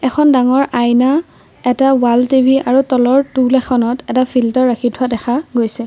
এখন ডাঙৰ আইনা এটা ৱাল টি_ভি আৰু তলৰ টোল এখনত এটা ফিল্টাৰ ৰাখি থোৱা দেখা গৈছে।